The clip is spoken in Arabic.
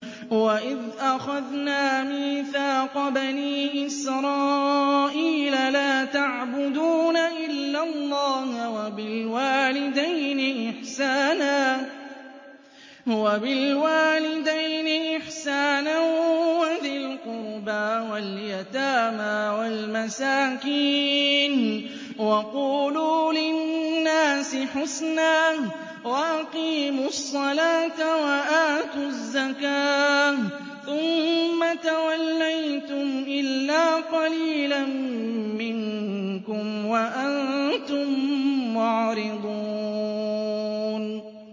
وَإِذْ أَخَذْنَا مِيثَاقَ بَنِي إِسْرَائِيلَ لَا تَعْبُدُونَ إِلَّا اللَّهَ وَبِالْوَالِدَيْنِ إِحْسَانًا وَذِي الْقُرْبَىٰ وَالْيَتَامَىٰ وَالْمَسَاكِينِ وَقُولُوا لِلنَّاسِ حُسْنًا وَأَقِيمُوا الصَّلَاةَ وَآتُوا الزَّكَاةَ ثُمَّ تَوَلَّيْتُمْ إِلَّا قَلِيلًا مِّنكُمْ وَأَنتُم مُّعْرِضُونَ